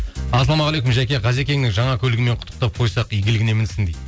ассалаумағалейкум жәке ғазекеңнің жаңа көлігімен құттықтап қойсақ игілігіне мінсін дейді